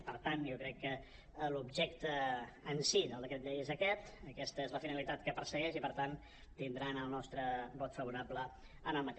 i per tant jo crec que l’objecte en si del decret llei és aquest aquesta és la finali·tat que persegueix i per tant tindran el nostre vot favorable en el decret